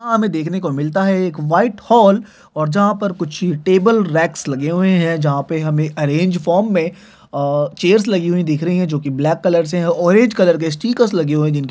दिखने को मिलता है एक व्हाइट हॉल और जहाँ पर टेबल रैक्स लगे हुए है जहाँ पे हमें अरेंज फॉर्म में अ चेयर्स लगे हुए दिख रही है जोकि ब्लैक कलर से है ऑरेंज कलर के स्टिकर्स लगे हुए जिनके ऊपर --